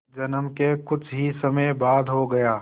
जन्म के कुछ ही समय बाद हो गया